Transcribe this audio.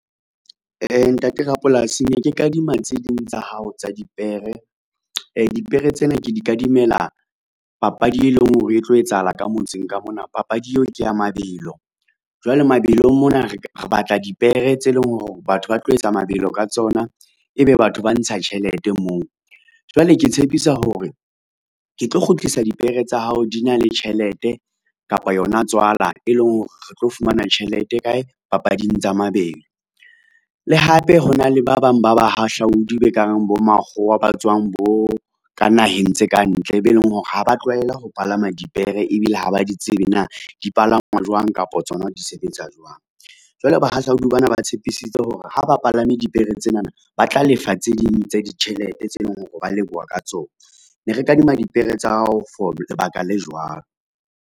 Ntate rapolasi ne ke kadima tseding tsa hao tsa dipere. Dipere tsena ke di kadimela papadi e leng hore e tlo etsahala ka motseng ka mona. Papadi eo ke ya mabelo jwale mabelong mona, re batla dipere tse leng hore batho ba tlo etsa mabelo ka tsona, ebe batho ba ntsha tjhelete moo. Jwale ke tshepisa hore ke tlo kgutlisa dipere tsa hao di na le tjhelete kapa yona tswala, e leng hore re tlo fumana tjhelete kae, papading tsa mabelo. Le hape hona le ba bang ba bahahlaodi ba ka reng bo makgowa ba tswang bo ka naheng tse kantle, be leng hore ha ba tlwaela ho palama dipere ebile ha ba di tsebe na dipalangwa jwang kapa tsona di sebetsa jwang. Jwale bahahlaudi ba na ba tshepisitse hore, ha ba palame dipere tsenana ba tla lefa tse ding tsa ditjhelete tse leng hore ba leboha ka tsona, ne re kadima dipere tsa hao for lebaka le jwang.